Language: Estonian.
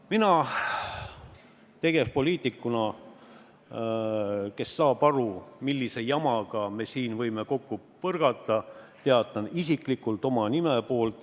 Mina tegevpoliitikuna, kes saab aru, millise jamaga me siin kokku võime põrgata, teatan isiklikult, et ma toetan sotside ettepanekut.